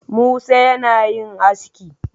Musa yana yin aski